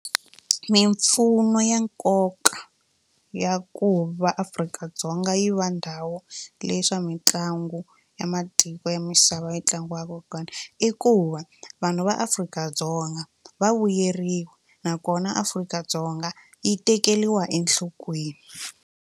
Mimpfuno ya nkoka ya ku va Afrika-Dzonga yi va ndhawu leyi swa mitlangu ya matiko ya misava yi tlangiwaka kona i ku va vanhu va Afrika-Dzonga va vuyeriwa nakona Afrika-Dzonga yi tekeriwa enhlokweni.